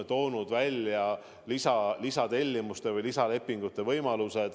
Ta on pakkunud lisatellimuste või lisalepingute võimalusi.